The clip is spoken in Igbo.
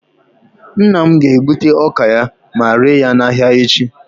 nna m ga-egbute ọka ya, ma ree ya n'ahịa echi